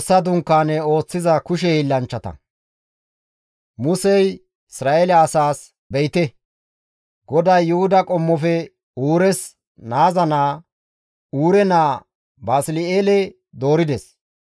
Musey Isra7eele asaas, «Be7ite; GODAY Yuhuda qommofe Uures naaza naa, Huurey naa Basli7eele doorides.